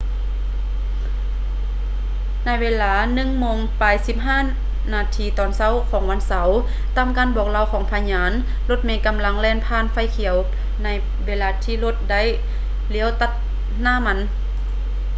ໃນເວລາ 1:15 a.m. ວັນເສົາ ຕາມການບອກເລົ່າຂອງພະຍານ ລົດເມກຳລັງແລ່ນຜ່ານໄຟຂຽວໃນເວລາທີ່ລົດໄດ້ລ້ຽວຕັດໜ້າມັນ